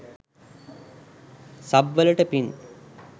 Sub වලට පින්!